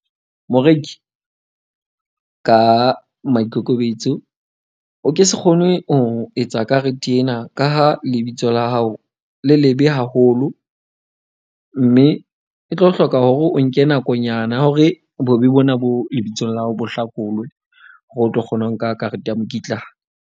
Moreki ka maikokobetso, o ke se kgone ho etsa karete ena ka ha lebitso la hao, le lebe haholo. Mme e tlo hloka hore o nke nakonyana ya hore bobe bona bo lebitsong la ha bo hlakolwe. Hore o tlo kgone ho nka karete ya mokitlane.